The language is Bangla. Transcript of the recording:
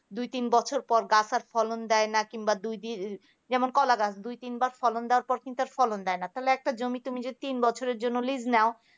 দু তিন বছর পর গাছে আর ফলন দেয় না যেমন কলা গাছ দুই তিন বার ফলন দেওয়ার পর কিন্তু আর ফলন দেয় না তাহলে একটা জমিতে তুমি যদি তিন বছরের জন্য লীজ নাও